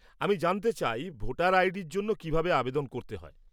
আমি জানতে চাই ভোটার আইডির জন্য কীভাবে আবেদন করতে হয়।